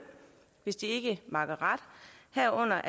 hvis de ikke makker ret herunder